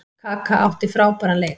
Kaka átti frábæran leik.